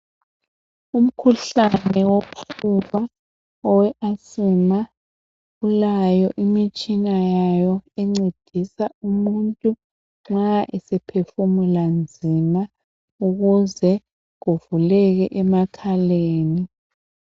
Umkhuhlane owephepha owe asima ulaye imtshina yawo encedisa umuntu nxa esephefumula nzima ukuze kuvuleke emakhaleni.